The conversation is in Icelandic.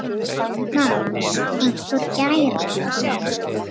Mamma einhver gæra?